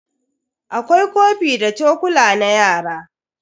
Akwai kofi da chokula na yara.